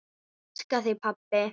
Ég elska þig, pabbi.